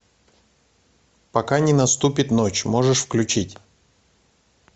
пока не наступит ночь можешь включить